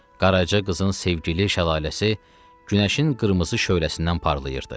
Qarajı qızın sevgili şəlaləsi günəşin qırmızı şöləsindən parlayaırdı.